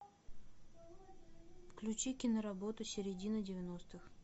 включи киноработу середина девяностых